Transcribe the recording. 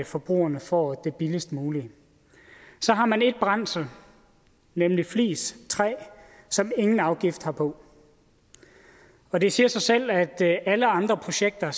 forbrugerne får det billigst mulige så har man et brændsel nemlig flis træ som ingen afgift har på og det siger sig selv at alle andre projekter